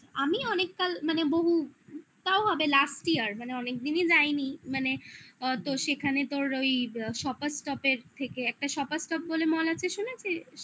আচ্ছা আমি অনেক কাল মানে বহু তাও হবে last year মানে অনেকদিনই যাইনি মানে আ তো সেখানে তোর ওই shoppers shop এর থেকে একটা shoppers shop বলে mall আছে শুনেছিস